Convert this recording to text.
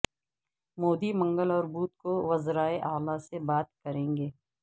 مودی منگل اور بدھ کو وزرائے اعلی سے بات کریں گے